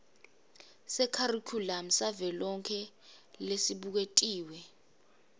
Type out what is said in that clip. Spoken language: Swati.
sekharikhulamu savelonkhe lesibuketiwe